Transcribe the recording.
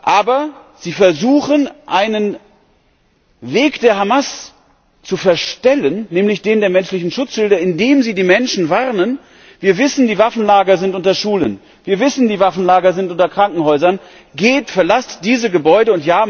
Aber sie versuchen, einen Weg der Hamas zu verstellen, nämlich den der menschlichen Schutzschilde, indem sie die Menschen warnen Wir wissen, die Waffenlager sind unter Schulen. Wir wissen, die Waffenlager sind unter Krankenhäusern. Geht, verlasst diese Gebäude!